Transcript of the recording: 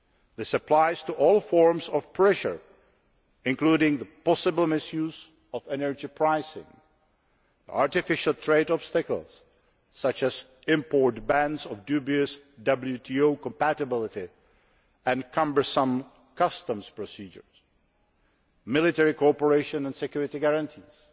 This applies to all forms of pressure, including the possible misuse of energy pricing, artificial trade obstacles such as import bans of dubious WTO compatibility and cumbersome customs procedures, military cooperation and security guarantees